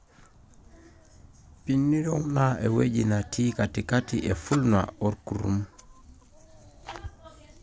perineum(na eweuji natii katikai e vulva olkurum)